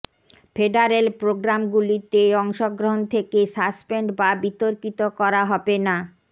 federal প্রোগ্রামগুলিতে অংশগ্রহণ থেকে সাসপেন্ড বা বিতর্কিত করা হবে না